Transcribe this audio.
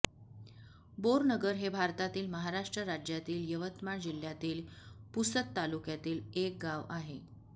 बोरनगर हे भारतातील महाराष्ट्र राज्यातील यवतमाळ जिल्ह्यातील पुसद तालुक्यातील एक गाव आहे